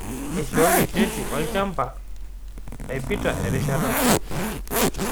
Eishooki cheti olchaamba naipita erishata